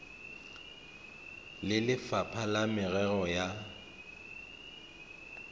le lefapha la merero ya